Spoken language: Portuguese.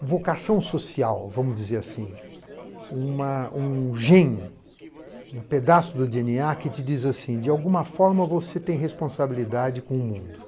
vocação social, vamos dizer assim, uma um gem, um pedaço dê ene á que te diz assim: de alguma forma você tem responsabilidade com o mundo.